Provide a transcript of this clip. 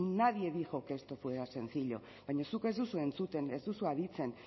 nadie dijo que esto fuera sencillo baina zuk ez duzu entzuten ez duzu aditzen